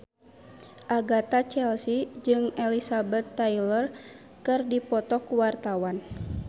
Agatha Chelsea jeung Elizabeth Taylor keur dipoto ku wartawan